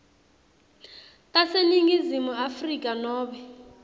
taseningizimu afrika nobe